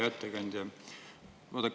Hea ettekandja!